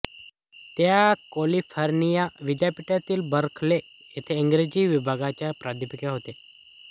त्या कॅलिफोर्निया विद्यापीठ बर्कले येथे इंग्रजी विभागाच्या प्राध्यापिका होत्या